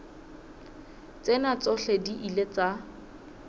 tsena tsohle di ile tsa